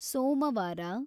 ಸೋಮವಾರ